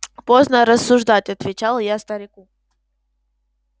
поздно рассуждать отвечал я старику